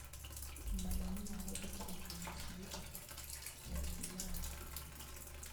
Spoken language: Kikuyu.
Mathomo ma gũthikĩrĩria na ciugo (IVR)